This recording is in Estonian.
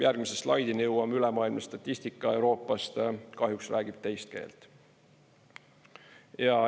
Järgmise slaidini jõuame, ülemaailmne statistika Euroopast kahjuks räägib teist keelt.